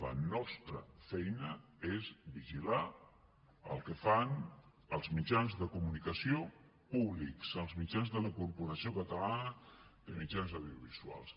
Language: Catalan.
la nostra feina és vigilar el que fan els mitjans de comunicació públics els mitjans de la corporació catalana de mitjans audiovisuals